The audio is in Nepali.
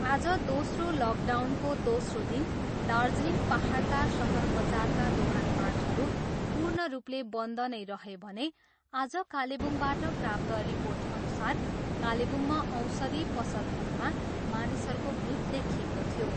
आज दोस्रो लकडाउनको दोस्रो दिन दार्जिलिङ पाहाडका सहर बजारका दोकानपाटहरू पूर्ण रूपले बन्द नै रहे भने आज कालेबुङबाट प्राप्त रिर्पोटअनुसार कालेबुङमा औषधी पसलहरूमा मानिसहरूको भिड देखिएको थियो।